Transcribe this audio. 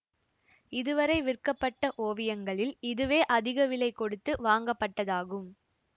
இது வரை விற்கப்பட்ட ஓவியங்களில் இதுவே அதிக விலை கொடுத்து வாங்கப்பட்டதாகும்